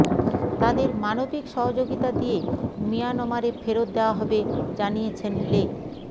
তাদের মানবিক সহযোগিতা দিয়ে মিয়ানমারে ফেরত দেওয়া হবে জানিয়েছেন লে